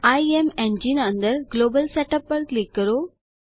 ઇમેન્જીને અંદર global setup પર click કરો